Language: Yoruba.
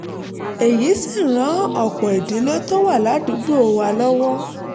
èyí sì ran ọ̀pọ̀ ìdílé tó wà ládùúgbò wa lọ́wọ́